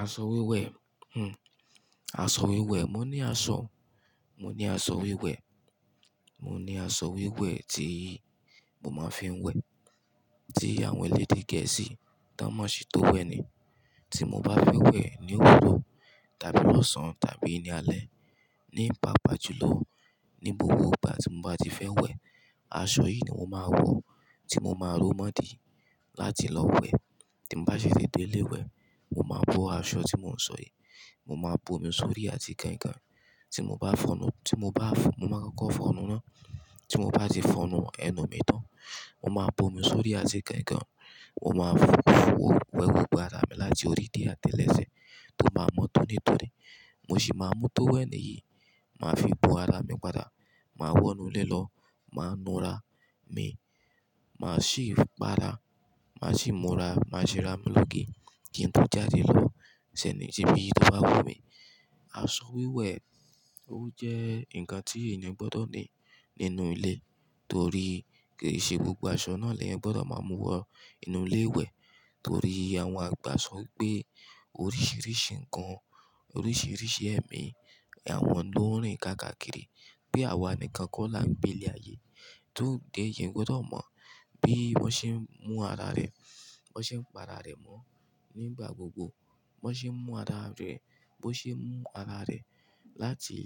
Aṣọ wíwẹ̀, aṣọ wíwẹ̀, mo ní aṣọ, mo ní aṣọ wíwẹ̀, mo ní aṣọ wíwẹ̀ tí mo máa ń fi ń wẹ̀, tí àwọn ẹlẹ́dẹ̀ gẹ̀ẹ́sì tánmọ̀ṣí tó wẹ̀ li. Tí mo bá fẹ́ wẹ̀ ní òwúrọ̀ tàbí lọ́sàn tàbí ní alẹ́ nípapá jùlọ ní gbogbo ìgbà tí mo bá ti fẹ́ wẹ̀, aṣọ yìí ni mo máa wọ̀ tí mo máa rọ́ mọ́ dí láti lọ wẹ̀. Tí mo bá ṣi ti dé ilé iwẹ̀, mo máa bọ́ aṣọ tí mò ń sọ yìí, mo máa bo mi sórí àti kán kán. Tí mo bá fọ́nù, tí mo bá fọ nu, mo máa kọ́kọ́ fọ̀nù ná. Tí mo bá ti fọ̀nù ẹnu mi tán, mo máa bo mi sórí àti kán kán. Mo máa fò, fò ó wẹ gbogbo ara mi láti orí dé àtẹ́lẹsẹ̀ tó máa mọ́ tónítóní. Mo sì máa mú tó wẹ̀ níyìí, màá fi bo ara mi padà, màá wọ̀nú ilé lọ, màá nu ara mi, màá sì pa ara, màá sì múra, màá sì ra mi lóge kí n tó jáde lọ síbi tó bá wù mí. Aṣọ wíwẹ̀ ó jẹ́ ǹkan tí èèyàn gbọdọ̀ ní nínú ilé torí kì í ṣe gbogbo aṣọ náà lẹ́yan gbọdọ̀ máa mú wọ inú ilé wẹ̀ torí àwọn àgbà sọ pé oríṣiríṣi ǹkan, oríṣiríṣi ẹ̀mí àwọn ló ń rìn kákàkiri pe àwa nìkan kó la gbé ile ayé. Ìyan gbọdọ̀ mọ bí wọ́n ṣe ń mú ara rẹ̀, wọ́n ṣe ń pa ara rẹ̀ mọ́ nígbà gbogbo, wọ́n ṣe ń mú ara rẹ̀, bó ṣe mú ara rẹ̀ láti